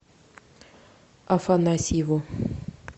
афанасьеву